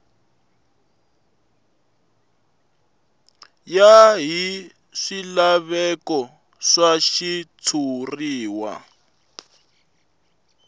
ya hi swilaveko swa xitshuriwa